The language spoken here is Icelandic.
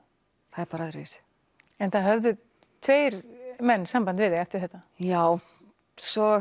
það er bara öðruvísi en það höfðu tveir menn samband við þig eftir þetta já svo